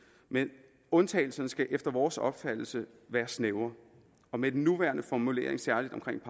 men undtagelserne skal efter vores opfattelse være snævre og med den nuværende formulering særlig omkring